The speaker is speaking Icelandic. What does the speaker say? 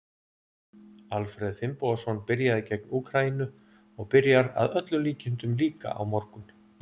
Alfreð Finnbogason byrjaði gegn Úkraínu og byrjar að öllum líkindum líka á morgun.